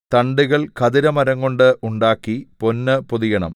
തണ്ടുകൾ ഖദിരമരംകൊണ്ട് ഉണ്ടാക്കി പൊന്ന് പൊതിയണം